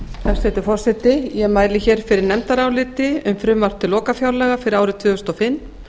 hæstvirtur forseti ég mæli fyrir nefndaráliti um frumvarp til lokafjárlaga fyrir árið tvö þúsund og fimm